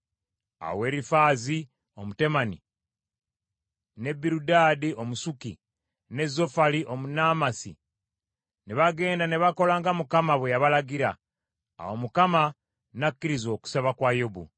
Awo Erifaazi Omutemani, ne Birudaadi Omusuki, ne Zofali Omunaamasi ne bagenda ne bakola nga Mukama bwe yabalagira. Awo Mukama n’akkiriza okusaba kwa Yobu.